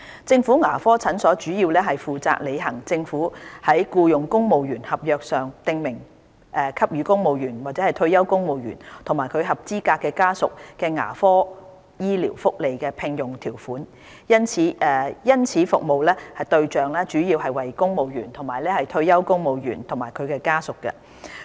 政府牙科診所主要是負責履行政府在僱用公務員合約上，訂明給予公務員/退休公務員及其合資格家屬的牙科醫療福利的聘用條款，因此服務對象主要為公務員/退休公務員及其家屬。